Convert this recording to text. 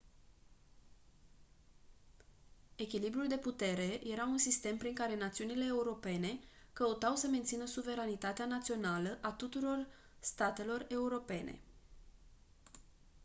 echilibrul de putere era un sistem prin care națiunile europene căutau să mențină suveranitatea națională a tuturor statelor europene